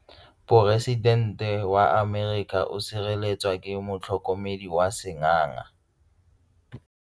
Poresitêntê wa Amerika o sireletswa ke motlhokomedi wa sengaga.